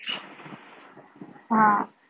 हा